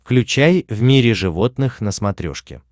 включай в мире животных на смотрешке